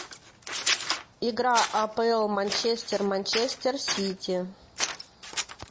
игра апл манчестер манчестер сити